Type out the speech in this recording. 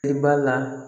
I b'a la